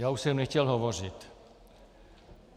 Já už jsem nechtěl hovořit.